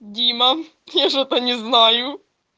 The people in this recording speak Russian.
дима я что то не знаю